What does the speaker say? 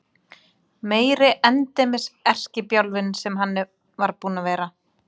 Meiri endemis erkibjálfinn sem hann var búinn að vera!